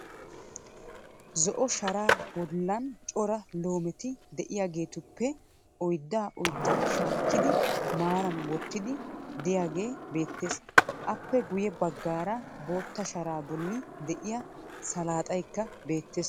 Zo"o sharaa bollan cora loometi de"iyaageetuppe oyddaa oyddaa shaakkidi maaran wottiiddi diyaagee beettes. Aappe guyye baggaara bootta sharaa bolli de"iyaa saalaaxaykka beettes.